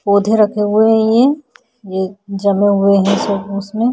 पौधे रखे हुए हैं ये ये जमे हुए हैं सब उसमें।